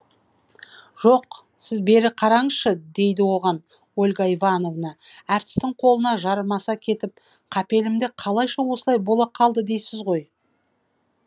жоқ сіз бері қараңызшы дейді оған ольга ивановна әртістің қолына жармаса кетіп қапелімде қалайша осылай бола қалды дейсіз ғой